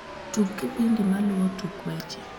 tug kipindi maluo tuk weche